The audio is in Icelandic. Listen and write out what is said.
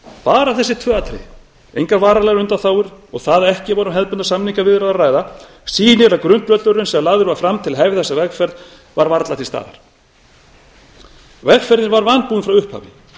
bara þessi tvö atriði engar varanlegar undanþágur og það að ekki var um hefðbundnar samningaviðræður að ræða sýna að grundvöllurinn sem lagður var fram til að hefja þessa vegferð var varla til staðar vegferðin var vanbúin frá upphafi